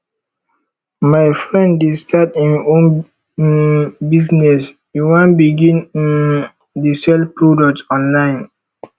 my friend dey start im own um business e wan begin um dey sell products online